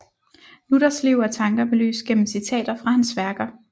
Luthers liv og tanker belyst gennem citater fra hans værker